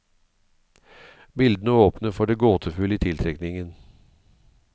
Bildene åpner for det gåtefulle i tiltrekningen.